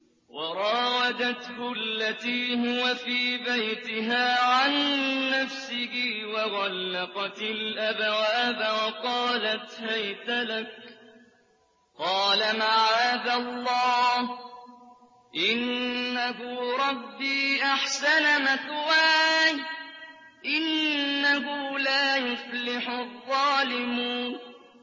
وَرَاوَدَتْهُ الَّتِي هُوَ فِي بَيْتِهَا عَن نَّفْسِهِ وَغَلَّقَتِ الْأَبْوَابَ وَقَالَتْ هَيْتَ لَكَ ۚ قَالَ مَعَاذَ اللَّهِ ۖ إِنَّهُ رَبِّي أَحْسَنَ مَثْوَايَ ۖ إِنَّهُ لَا يُفْلِحُ الظَّالِمُونَ